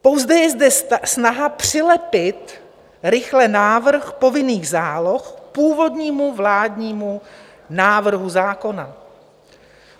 Pouze je zde snaha přilepit rychle návrh povinných záloh k původnímu vládnímu návrhu zákona.